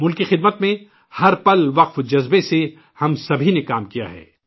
ملک کی خدمت میں ہر لمحہ لگن کے ساتھ ہم سبھی نے کام کیا ہے